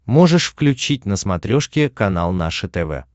можешь включить на смотрешке канал наше тв